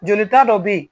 Jolita dɔ bɛ yen